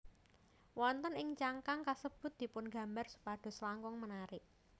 Wonten ing cangkang kasebut dipungambar supados langkung menarik